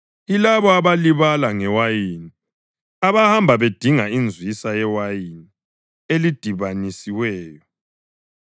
Yilabo abalibala ngewayini, abahamba bedinga inzwisa yewayini elidibanisiweyo.